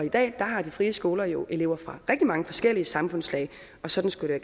i dag har de frie skoler jo elever fra rigtig mange forskellige samfundslag og sådan skulle det